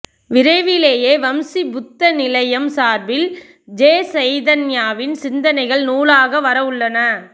விரைவிலேயே வம்சி புத்த நிலௌயம் சார்பில் ஜெ சைதன்யாவின் சிந்தனைகள் நூலாக வரவுள்ளன